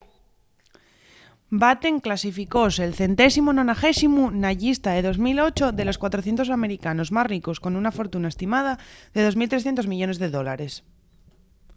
batten clasificóse’l 190u na llista de 2008 de los 400 americanos más ricos con una fortuna estimada en 2.300 millones de dólares